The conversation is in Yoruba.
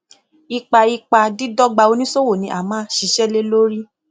ipa ipa dídọgba oníṣòwò ni a máa ṣiṣẹ lé lórí